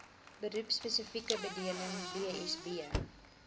beroepspesifieke bedeling bsb